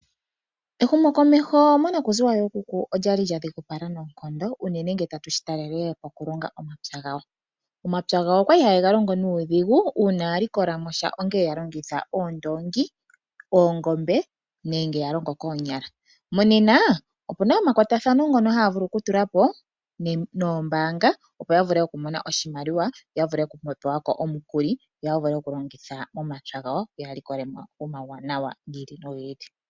Ehumokomeho monakuziwa yookuku olya li lya dhigupala noonkondo unene ngele tatu shi talele poku longa omapya gawo. Omapya gawo okwa li haye ga longo nuudhigu, uuna ya likolamosha ongele ya longitha oondoongi, oongombe nenge ya longo koonyala. Monena, opu na omakwatathano ngono haya vulu oku tula po noombaanga opo ya vule oku mona oshimaliwa opo ya vule oku pewa ko omukuli, yo ya vule oku longa omapya gawo yo ya likole mo omawuwanawa gi ili nogi ili.